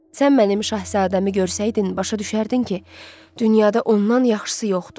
Sən mənim Şahzadəmi görsəydin, başa düşərdin ki, dünyada ondan yaxşısı yoxdur.